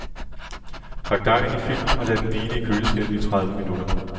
Pak dejen i film og lad den hvile i køleskabet i tredive minutter.